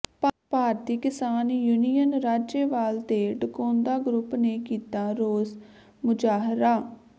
ਭਾਰਤੀ Kisan union Rajewal ਤੇ Dakaunda group ਨੇ ਕੀਤਾ ਰੋਸ ਮੁਜ਼ਾਹਰਾ